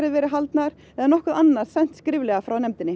verið haldnar eða nokkuð sent skriflega